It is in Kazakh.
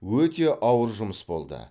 өте ауыр жұмыс болды